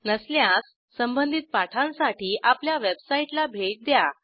नसल्यास संबधित पाठांसाठी आपल्या वेबसाईटला भेट द्या